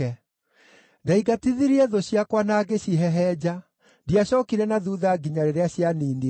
“Ndaingatithirie thũ ciakwa na ngĩcihehenja; ndiacookire na thuutha nginya rĩrĩa cianiinirwo.